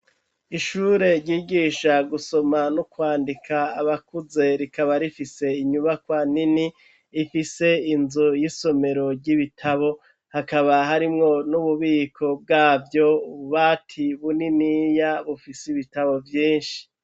Ishure ryigisha gusoma n'ukwandika abakuze rikaba rifise inyubakoa nini ifise inzu y'isomero ry'ibitabo hakaba harimwo n'ububiko bwavyo bubati buniniya bufise ibitabo vyinshi.